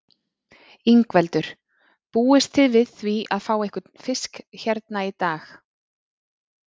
Ingveldur: Búist þið við því að fá einhvern fisk hérna í dag?